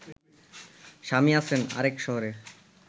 স্বামী আছেন আরেক শহরে